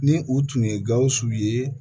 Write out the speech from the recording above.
Ni u tun ye gawusu ye